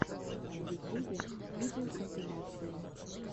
в ютюбе видеокомпиляции